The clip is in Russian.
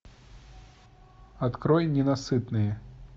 открой ненасытные